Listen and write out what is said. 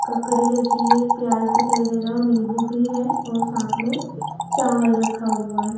ककड़ी रखी है। प्याज दिखाई दे रहा है और नीम्बू भी है और साथ में चावल भी रखा हुआ है।